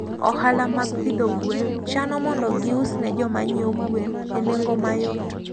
Ohala mag pidho gwen chano mondo gius ne jo ma ng'iewo gwen enengo mayot.